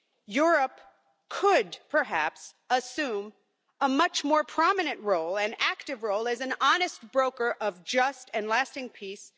Europe could perhaps assume a much more prominent role, an active role, as an honest broker of just and lasting peace.